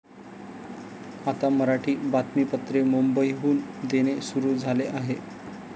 आता मराठी बातमीपत्रे मुंबईहून देणे सुरु झाले आहे.